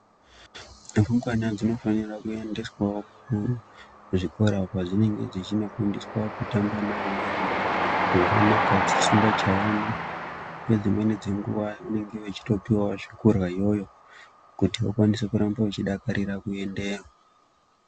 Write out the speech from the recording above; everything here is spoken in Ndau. Rumbwana dzinofanira kuendeswawo kuzvikora kwadzinenge dzechinofundiswa kutamba neamweni zvakanaka dzisingachayani, ngedzimweni dzenguwa vanenge vachitopuwawo zvekurya iyoyo kuti vakwanise kuramba vachidakarira kuendeyo.